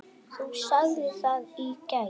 Þú sagðir það í gær.